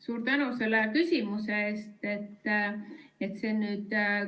Suur tänu selle küsimuse eest!